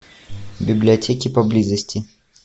библиотеки поблизости